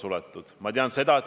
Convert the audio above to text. Vilja Toomast, palun!